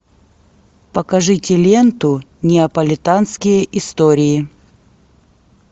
покажите ленту неаполитанские истории